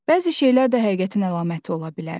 Bəzi şeylər də həqiqətin əlaməti ola bilər.